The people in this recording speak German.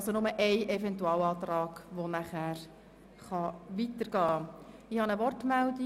Nur einer der Eventualanträge kann danach weiterbestehen.